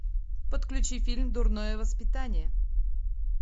подключи фильм дурное воспитание